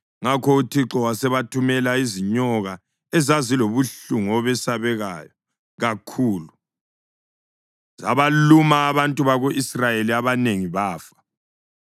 Ngakho uThixo wasebathumela izinyoka ezazilobuhlungu obesabekayo kakhulu, zabaluma abantu bako-Israyeli abanengi bafa.